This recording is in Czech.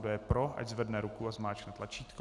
Kdo je pro, ať zvedne ruku a zmáčkne tlačítko.